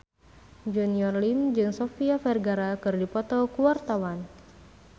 Junior Liem jeung Sofia Vergara keur dipoto ku wartawan